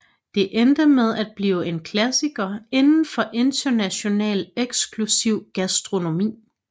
Det endte med at blive en klassiker inden for international eksklusiv gastronomi